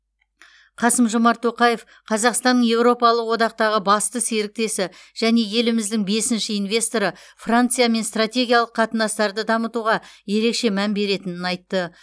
қасым жомарт тоқаев қазақстанның еуропалық одақтағы басты серіктесі және еліміздің бесінші инвесторы франциямен стратегиялық қатынастарды дамытуға ерекше мән беретінін айтты